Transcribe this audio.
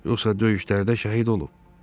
Yoxsa döyüşlərdə şəhid olub?